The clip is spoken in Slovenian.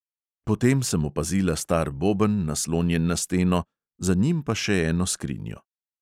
Potem sem opazila star boben, naslonjen na steno, za njim pa še eno skrinjo.